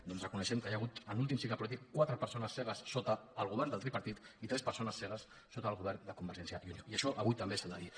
doncs reconeguem que hi ha hagut en l’últim cicle polític quatre persones cegues sota el govern del tripartit i tres persones cegues sota el govern de convergència i unió i això avui també s’ha de dir